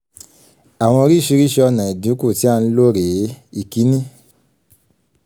àwọn oríṣiríṣi ọ̀nà ìdínkù tí a ń lò rèé: ìkíní